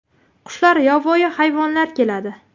Qushlar, yovvoyi hayvonlar keladi.